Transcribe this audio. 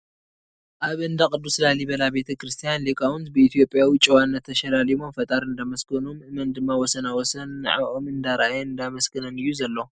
ኣብ እንዳ ቕዱስ ላሊበላ ቤተ-ክርስትያን ሊቓውንት ብኢ/ያዊ ጨዋነት ተሸላሊሞም ፈጣሪ እንዳመስገኑ ምእመን ድማ ወሰና ወሰን ንዐዖም እንዳረኣየን እንዳመስገነን እዩ ዘሎ ።